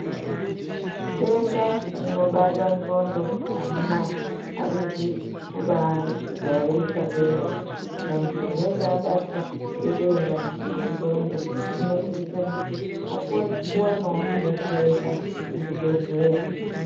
Denda rinobata hlondo amunaa arizo kubaijairika kwemene muntu munhu anenge abatwa ngedenda rehlondo unosisa kuti vakone kudetsereka kuzvibhehleya